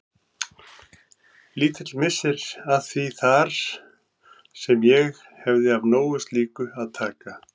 Lítill missir að því þar sem ég hefði af nógu slíku að taka.